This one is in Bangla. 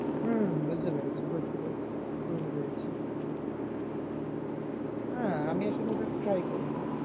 হম বুঝতে পেরেছি বুঝতে পেরেছি বুঝতে পেরেছি। হ্যাঁ, আমি আসলে ওটা try করিনি।